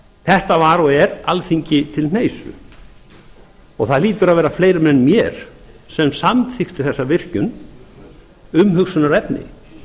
þetta var og er alþingi til hneisu það hlýtur að vera fleirum en mér sem samþykkti þessa virkjun umhugsunarefni